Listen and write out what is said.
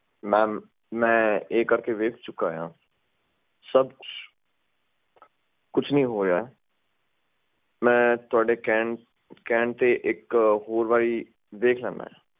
mam ਮੈਂ ਇਹ ਕਰ ਕੇ ਦੇਖ ਚੁਕਿਆ ਹਾਂ ਕੁਝ ਨਹੀਂ ਹੋਇਆ ਹੈ ਮੈਂ ਤੁਹਾਡੇ ਕਹਿਣ ਤੇ ਇੱਕ ਹੋਰ ਦੇਖ ਲੈਂਦਾ ਹਾਂ